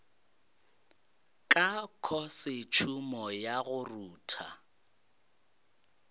ka khosetšhumo ya go rutha